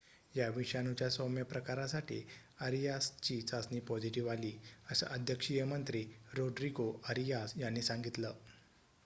या विषाणूच्या सौम्य प्रकारासाठी अरियासची चाचणी पॉझिटिव्ह आली असं अध्यक्षीय मंत्री रोड्रीगो अरियास यांनी सांगितलं